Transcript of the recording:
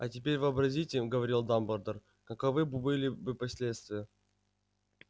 а теперь вообразите говорил дамблдор каковы были бы последствия